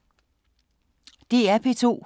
DR P2